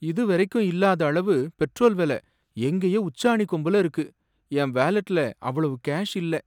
இதுவரைக்கும் இல்லாத அளவு பெட்ரோல் வில எங்கேயோ உச்சாணி கொம்புல இருக்கு, என் வாலெட்ல அவ்வளவு கேஷ் இல்ல.